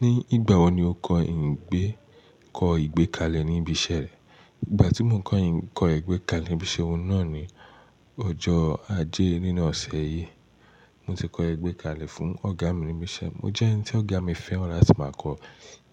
Ní ìgbà wo ni o kọ́ ìgbé kọ́ ìgbékalẹ̀ ní ibi iṣẹ́ rẹ? Ìgbà tí mò koyin kọ́ ìgbékalẹ̀ ní ibi iṣẹ́ wọn náà ni ọjọ́ ajé nínú ọ̀sẹ̀ yìí. Mo ti kọ igbẹ́kalẹ̀ fún ọ̀gá mi níbi iṣẹ́. Mo jẹ́ ẹni tí ọ̀gá mi fẹ́ràn láti máa kọ